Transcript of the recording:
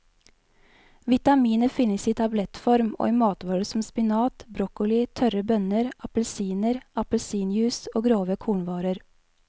Vitaminet finnes i tablettform og i matvarer som spinat, broccoli, tørre bønner, appelsiner, appelsinjuice og grove kornvarer.